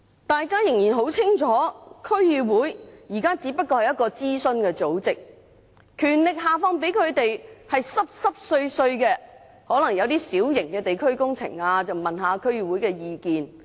大家很清楚，區議會現在仍只不過是一個諮詢組織，下放給它們的只是一些微不足道的權力，例如一些小型地區工程進行前會諮詢一下區議會意見。